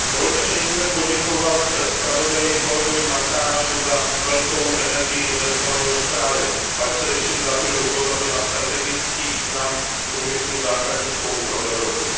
Pane předsedající, dovolte mi nejdříve poděkovat zpravodaji, kolegovi Martinovi za velkou energii investovanou do zprávy. Ale především za to, že upozornil na strategický význam průmyslu základních kovů pro Evropu.